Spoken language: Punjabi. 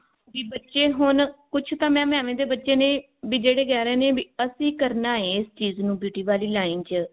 ਕੀ ਬੱਚੇ ਹੁਣ ਕੁਛ ਤਾਂ mam ਏਵੇਂ ਦੇ ਬੱਚੇ ਨੇ ਵੀ ਜਿਹੜੇ ਕਿਹ ਰਹੇ ਨੇ ਵੀ ਅਸੀਂ ਕਰਨਾ ਹੈ ਇਸ ਚੀਜ਼ ਨੂੰ beauty ਵਾਲੀ line ਚ